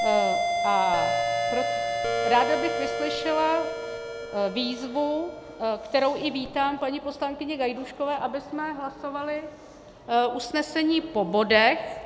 Ráda bych vyslyšela výzvu, kterou i vítám, paní poslankyně Gajdůškové, abychom hlasovali usnesení po bodech.